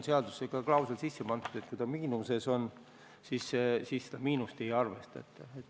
Seaduses on klausel, et kui see miinuses on, siis seda miinust ei arvestata.